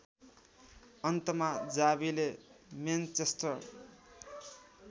अन्तमा जावीले मेनचेस्टर